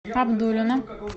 абдулино